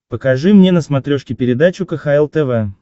покажи мне на смотрешке передачу кхл тв